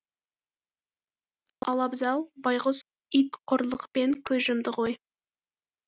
ал абзал байғұс ит қорлықпен көз жұмды ғой